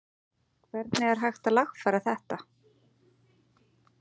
Hvernig er hægt að lagfæra þetta?